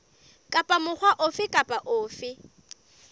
kapa mokga ofe kapa ofe